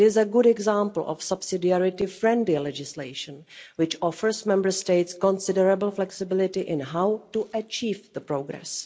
It is a good example of subsidiarity-friendly legislation, which offers Member States considerable flexibility in how to achieve the progress.